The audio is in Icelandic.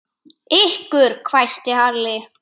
Ykkur hvæsti Halli.